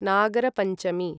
Nagarapanchami